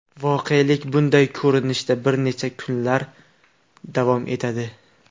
Voqelik bunday ko‘rinishda bir necha kunlab davom etadi.